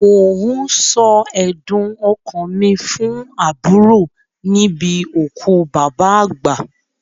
Mò ń sọ ẹ̀dùn ọkàn mi fún àbúrò níbi òkú bàbá àgbà.